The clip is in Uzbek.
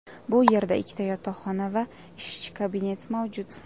Bu yerda ikkita yotoqxona va ishchi kabinet mavjud.